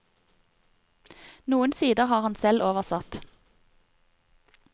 Noen sider har han selv oversatt.